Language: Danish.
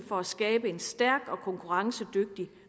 for at skabe en stærk og konkurrencedygtig